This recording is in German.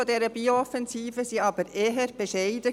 Die Ziele dieser Bio-Offensive waren jedoch eher bescheiden.